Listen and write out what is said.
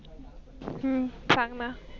हम्म सांगणं ना.